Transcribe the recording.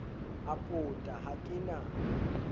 a pota ha ke na